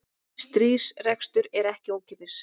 Stríðsrekstur er ekki ókeypis